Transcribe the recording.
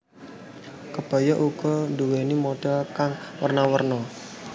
Kebaya uga nduwéni model kang werna werna